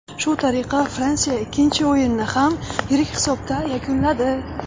Shu tariqa Fransiya ikkinchi o‘yinni ham yirik hisobda yakunladi.